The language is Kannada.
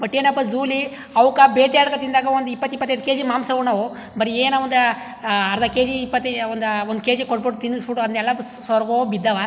ಬಟ್ ಏನಪ್ಪಾ ಝೋವ್ ಲಿ ಅವುಕ್ ಬೇಟೆ ಆಡಕೊಂಡಿ ತಿನ್ನದಾಗ್ ಒಂದ್ ಇಪ್ಪತ್ ಇಪ್ಪತೈದ್ ಕೆಜಿ ಮಾಂಸ ಉಣ್ಣವು ಬರಿ ಏನೋ ಒಂದ್ ಅರ್ಧ ಕೆಜಿ ಇಪ್ಪತ್ ಒಂದ್ ಒಂದ ಕೆಜಿ ಕೊಟ್ಟಬಿಟ್ಟು ತಿನ್ನಸ್ ಬಿಟ್ಟು ಅದ್ನೇಲ್ಲಾ ಸರಗೋಗಿ ಬಿದ್ದವ್.